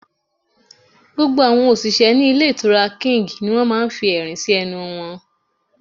Gbogbo àwọn òṣìṣẹ́ ní Ilé Ìtura King ni wọ́n máa fi ẹ̀rín sí ẹnu wọn